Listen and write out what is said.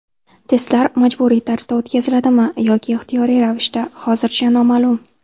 Testlar majburiy tarzda o‘tkaziladimi yoki ixtiyoriy ravishda, hozircha noma’lum.